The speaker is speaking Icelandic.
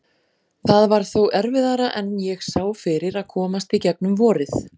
Það var þó erfiðara en ég sá fyrir að komast í gegnum vorið.